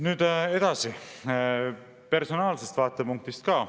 Nüüd edasi, personaalsest vaatepunktist ka.